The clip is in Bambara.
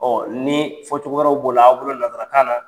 ni fɔcogo wɛrɛw b'o la an bolo lasarakan na